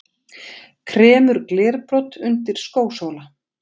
Kremur glerbrot undir skósóla.